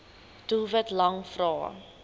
doelwit lang vrae